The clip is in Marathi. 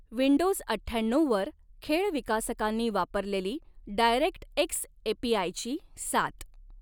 विंडोज अठ्ठ्याण्णऊवर खेळ विकासकांनी वापरलेली डायरेक्ट एक्स एपीआयची सात.